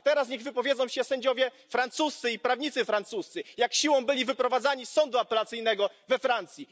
A teraz niech wypowiedzą się sędziowie francuscy i prawnicy francuscy, jak siłą byli wyprowadzani z sądu apelacyjnego we Francji.